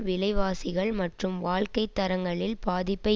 விலை வாசிகள் மற்றும் வாழ்க்கை தரங்களில் பாதிப்பை